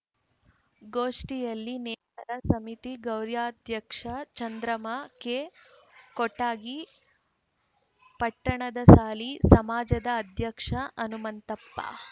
ಗೋಷ್ಠಿಯಲ್ಲಿ ನೇಕಾರ ಸಮಿತಿ ಗೌರಾಧ್ಯಕ್ಷೆ ಚಂದ್ರಮ್ಮ ಕೆಕೊಟಗಿ ಪಟ್ಟದಸಾಲಿ ಸಮಾಜದ ಅಧ್ಯಕ್ಷ ಹನುಮಂತಪ್ಪ